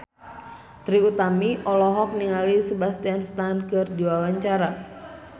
Trie Utami olohok ningali Sebastian Stan keur diwawancara